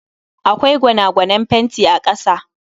Akwai gwanagwanen fenti a kasa